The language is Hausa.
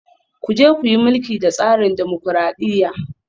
Ku je ku yi mulki da tsarin dimokuradiyya